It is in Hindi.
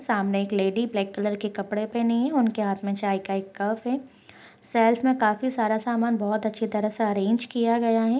सामने एक लेडी ब्लैक कलर के कपड़े पहनी है उनके हाथ में चाय का एक कप है शेल्फ में काफी सारा सामान बहुत अच्छी तरह से अरेंज किया गया है।